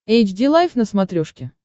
эйч ди лайф на смотрешке